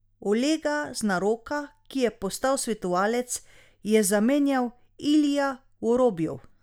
Olega Znaroka, ki je postal svetovalec, je zamenjal Ilija Vorobjov.